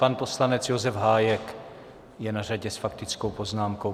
Pan poslanec Josef Hájek je na řadě s faktickou poznámkou.